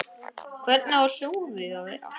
Hvernig á hjólið að vera?